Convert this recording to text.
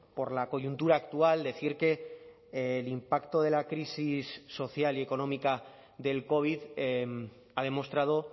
por la coyuntura actual decir que el impacto de la crisis social y económica del covid ha demostrado